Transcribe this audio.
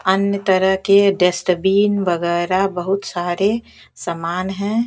अन्य तरह के डस्टबिन वगैरह बहुत सारे समान हैं।